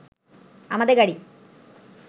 আমাদের গাড়ি